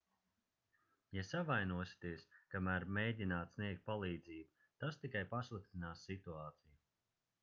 ja savainosieties kamēr mēģināt sniegt palīdzību tas tikai pasliktinās situāciju